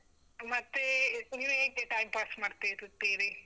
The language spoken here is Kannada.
ಮತ್ತೆ, ನೀವ್ ಹೇಗೆ time pass ಮಾಡ್ತಾ ಇರುತ್ತೀರಿ?